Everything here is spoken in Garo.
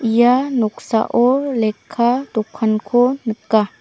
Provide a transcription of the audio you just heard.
ia noksao lekka dokanko nika.